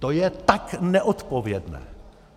To je tak neodpovědné!